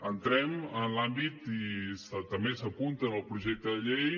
entrem en l’àmbit i també s’apunta en el projecte de llei